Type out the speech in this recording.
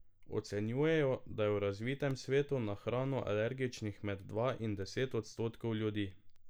Ocenjujejo, da je v razvitem svetu na hrano alergičnih med dva in deset odstotkov ljudi.